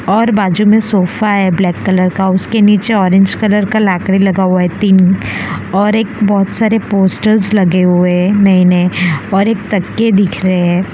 और बाजू में सोफा है ब्लैक कलर का उसके नीचे ऑरेंज कलर का लाकड़ी लगा हुआ है तीन और एक बहोत सारे पोस्टर्स लगे हुए नए नए और एक तकिए दिख रहे --